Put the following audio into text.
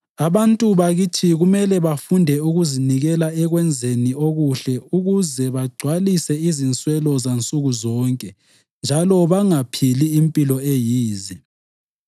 Abantu bakithi kumele bafunde ukuzinikela ekwenzeni okuhle ukuze bagcwalise izinswelo zansuku zonke njalo bangaphili impilo eyize.